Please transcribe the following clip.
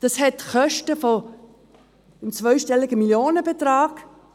Das hat Kostenfolgen in einem zweistelligen Millionenbetrag;